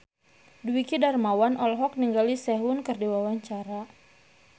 Dwiki Darmawan olohok ningali Sehun keur diwawancara